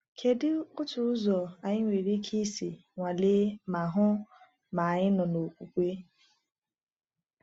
Kedu otu ụzọ anyị nwere ike isi nwalee ma hụ ma anyị nọ n’okwukwe?